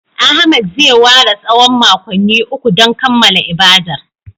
Ahmed zai ware tsawon makonni uku don kammala ibadar